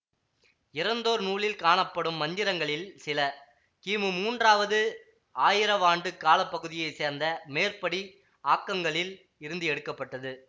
இறந்தோர் நூலில் காணப்படும் மந்திரங்களில் சில கிமு மூன்றாவது ஆயிரவாண்டுக் கால பகுதியை சேர்ந்த மேற்படி ஆக்கங்களில் இருந்து எடுக்க பட்டது